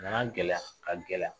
A nana gɛlɛya ka gɛlɛya